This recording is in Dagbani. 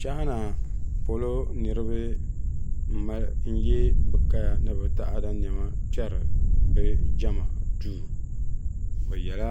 China polo niriba n-ye bɛ kaya ni bɛ taada nɛma kpɛri bɛ jɛma duu bɛ yela